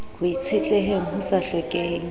ho itshetleheng ho sa hlokeheng